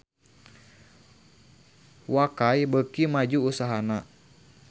Wakai beuki maju usahana